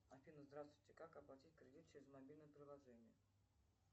афина здравствуйте как оплатить кредит через мобильное приложение